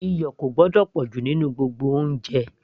iyọ̀ kò gbọ́dọ̀ pọ̀jù nínú gbogbo oúnjẹ